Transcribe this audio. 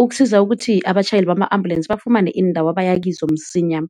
ukusiza ukuthi abatjhayeli bama ambulensi bafumane iindawo abaya kizo msinya.